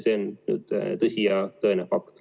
See on tõsi, see on fakt.